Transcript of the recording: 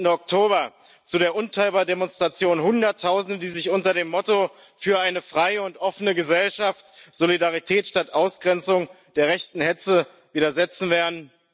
13. Oktober zu der unteilbar Demonstration Hunderttausende, die sich unter dem Motto Für eine freie und offene Gesellschaft, Solidarität statt Ausgrenzung der rechten Hetze widersetzen werden.